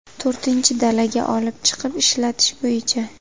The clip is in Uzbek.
To‘rtinchi dalaga olib chiqib ishlatish bo‘yicha.